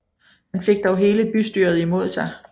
Han fik dog hele bystyret imod sig